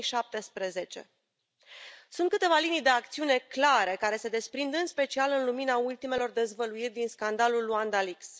2017. Sunt câteva linii de acțiune clare care se desprind, în special, în lumina ultimelor dezvăluiri din scandalul Luanda Leaks.